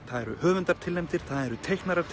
það eru höfundar tilnefndir það eru teiknarar